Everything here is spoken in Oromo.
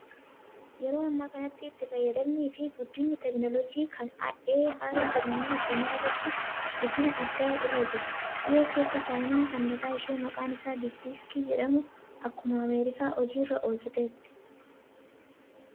Yeroo ammaa kanatti itti fayyadamnii fi guddinni teekinooloojii kan "AI" jedhamuu addunyaa irratti guddina addaa irra jira. Dhiyoo keessa chaayinaan kan mataa ishee maqaan isaa diippisiikii jedhamu akkuma Ameerikaa hojiirra oolchiteetti.